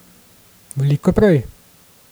Veliko prej.